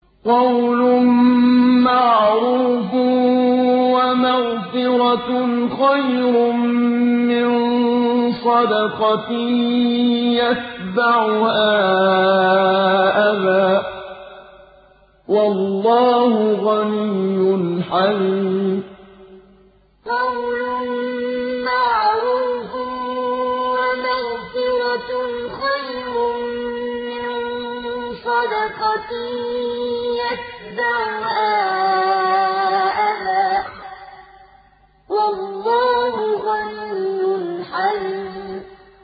۞ قَوْلٌ مَّعْرُوفٌ وَمَغْفِرَةٌ خَيْرٌ مِّن صَدَقَةٍ يَتْبَعُهَا أَذًى ۗ وَاللَّهُ غَنِيٌّ حَلِيمٌ ۞ قَوْلٌ مَّعْرُوفٌ وَمَغْفِرَةٌ خَيْرٌ مِّن صَدَقَةٍ يَتْبَعُهَا أَذًى ۗ وَاللَّهُ غَنِيٌّ حَلِيمٌ